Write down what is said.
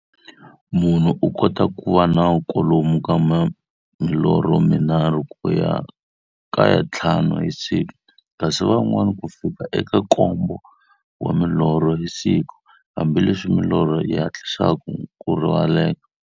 Munhu u kota ku va na kwalomu ka milorho mi nharhu ku ya ka ya nthlanu hi siku, kasi van'wana ku fikela eka nkombo wa milorho hi siku, hambileswi milorho yi hatlisaka ku rivaleka.